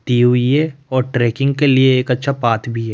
दी हुई है और ट्रैकिंग के लिए एक अच्छा पाथ भी है।